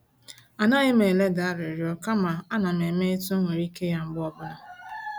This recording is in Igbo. A naghim eleda arịrịọ kama a nam eme etu m nwere ike ya mgbe ọbụla